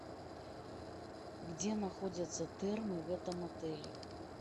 где находятся термы в этом отеле